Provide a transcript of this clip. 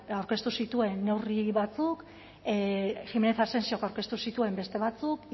aurkeztu zituen neurri batzuk jiménez asensiok aurkeztu zituen beste batzuk